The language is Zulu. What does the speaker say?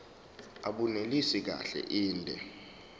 abunelisi kahle inde